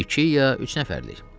İki ya üç nəfərlik?